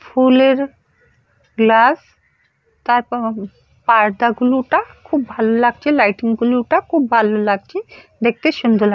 ফুলের গ্লাস তারপর উ পার্‌দা গুলোটা খুব ভালো লাগছে লাইটিং গুলো টা খুব ভালো লাগছে। দেখতে সুন্দর লাগ --